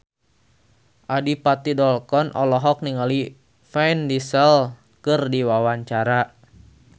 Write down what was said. Adipati Dolken olohok ningali Vin Diesel keur diwawancara